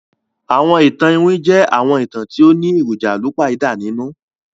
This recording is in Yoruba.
Àwọn ìtàn iwin jẹ àwọn ìtàn ti o ni èròjà àlùpàídà nínú